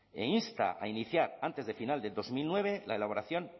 e insta a iniciar antes de final de dos mil nueve la elaboración